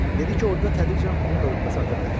Dedi ki, orada tədricən onun da rütbəsi arta bilər.